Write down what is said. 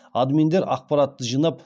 админдер ақпаратты жинап